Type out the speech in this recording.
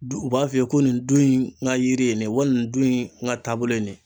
Du u b'a f'i ye ko nin du in ka yiri ni ye wali nin dun in n ka taabolo ye nin ye.